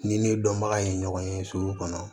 Ni ne dɔnbaga ye ɲɔgɔn ye sugu kɔnɔ